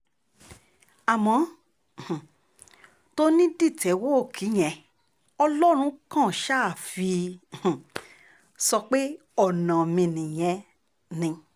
àmọ́ um tòní dìtẹ́wọ́ọ̀kì yẹn ọlọ́run kan ṣáà fi um sọ pé ọ̀nà mi nìyẹn ni